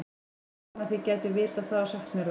var að vona þið gætuð vitað það og sagt mér það